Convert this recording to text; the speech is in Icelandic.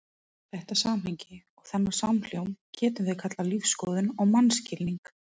Þetta samhengi og þennan samhljóm getum við kallað lífsskoðun og mannskilning.